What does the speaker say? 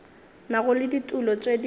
nago le ditulo tše di